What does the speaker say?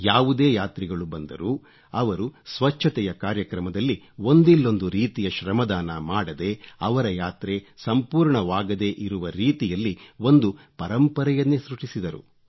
ಯಾವುದೇ ಯಾತ್ರಿಗಳು ಬಂದರೂ ಅವರು ಸ್ವಚ್ಚತೆಯ ಕಾರ್ಯಕ್ರಮದಲ್ಲಿ ಒಂದಿಲ್ಲೊಂದು ರೀತಿಯ ಶ್ರಮದಾನ ಮಾಡದೆ ಅವರ ಯಾತ್ರೆ ಸಂಪೂರ್ಣವಾಗದೇ ಇರುವ ರೀತಿಯಲ್ಲಿ ಒಂದು ಪರಂಪರೆಯನ್ನೇ ಸೃಷ್ಟಿಸಿದರು